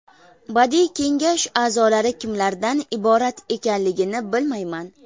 Badiiy kengash a’zolari kimlardan iborat ekanligini bilmayman.